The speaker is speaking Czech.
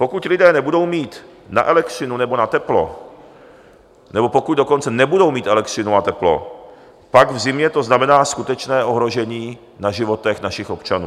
Pokud lidé nebudou mít na elektřinu nebo na teplo, nebo pokud dokonce nebudou mít elektřinu a teplo, pak to v zimě znamená skutečné ohrožení na životech našich občanů.